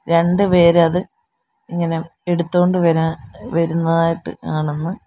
രണ്ടുപേരത് ഇങ്ങനെ എടുത്തോണ്ട് വരാൻ ഏഹ് വരുന്നതായിട്ട് കാണുന്നു.